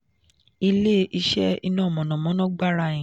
ile-iṣẹ iná mọ̀nàmọ́ná gbarain